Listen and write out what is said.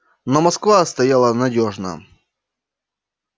но москва стояла надёжно